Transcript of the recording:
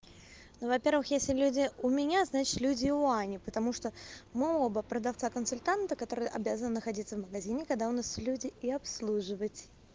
ну во-первых если люди у меня значит люди и у ани потому что мы оба продавца-консультанта который обязан находиться в магазине когда у нас люди и обслуживать